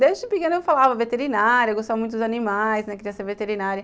Desde pequena eu falava veterinária, gostava muito dos animais, né, queria ser veterinária.